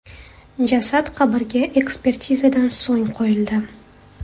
Jasad qabrga ekspertizadan so‘ng qo‘yildi.